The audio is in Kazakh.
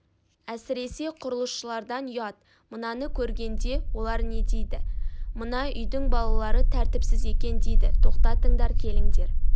әсіресе құрылысшылардан ұят мынаны көргенде олар не дейді мына үйдің балалары тәртіпсіз екен дейді тоқтатыңдар келіңдер